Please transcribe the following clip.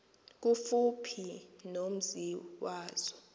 kufuphi nomzi wazo